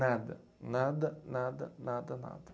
Nada, nada, nada, nada, nada.